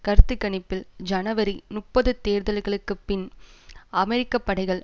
கருத்து கணிப்பில் ஜனவரி முப்பது தேர்தல்களுக்குப்பின் அமெரிக்க படைகள்